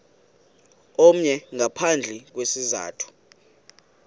omnye ngaphandle kwesizathu